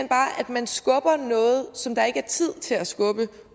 man skubber noget som der ikke er tid til at skubbe